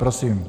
Prosím.